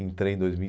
Entrei em dois mil e